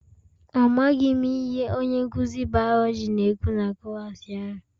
Amaghị m ihe onye nkụzi biology na-ekwu na klaasị ahụ